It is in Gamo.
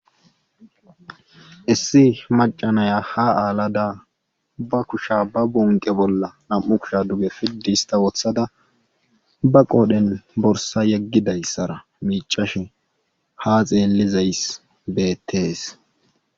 Issi macca nayiya ha aalada ba kushiya ba kushiya ba gonqe bolla na'u kushiya duge fidista wotada ba qodhiyan borssa yegizayssara miicashe ha xeelizayssi beetees.